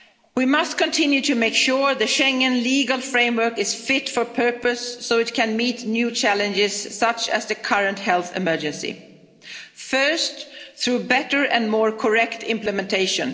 at risk. We must continue to make sure the Schengen legal framework is fit for purpose, so that it can meet new challenges such as the current health emergency. First, through better and more correct implementation.